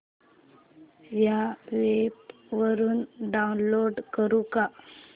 या वेब वरुन डाऊनलोड करू का